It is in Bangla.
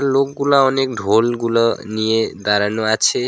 লোকগুলা অনেক ঢোলগুলা নিয়ে দাঁড়ানো আছে।